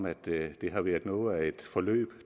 at det har været noget af et forløb